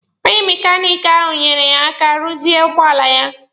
Onye mekaniki ahụ nyeere ya aka ruzie ụgbọala ya